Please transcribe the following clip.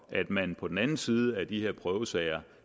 at man på den anden side af de prøvesager